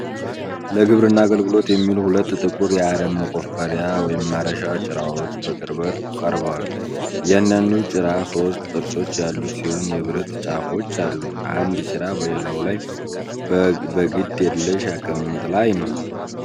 ለግብርና አገልግሎት የሚውሉ ሁለት ጥቁር የአረም መቆፈሪያ (ማረሻ) ጭራዎች በቅርበት ቀርበዋል። እያንዳንዱ ጭራ ሦስት ጥርሶች ያሉት ሲሆን የብረት ጫፎች አሉት። አንድ ጭራ በሌላው ላይ በግድ የለሽ አቀማመጥ ላይ ነው።